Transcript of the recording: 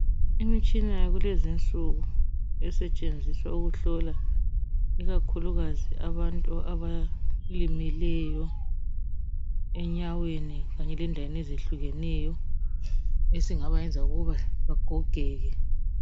Imitshina yakulezinsuku esetshenziswa ukuhlola ikakhulukazi abantu abalimeleyo enyaweni kanye lendaweni ezehlukeneyo esingabayenza ukuthi bagogeke.